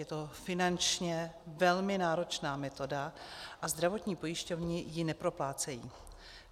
Je to finančně velmi náročná metoda a zdravotní pojišťovny ji neproplácejí.